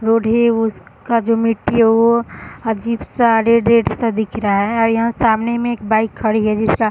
road है उस का जो मिट्टी है वो अजीब सा रेड रेड सा दिख रहा है और यहाँ सामने में एक बाइक खड़ी है जिसका --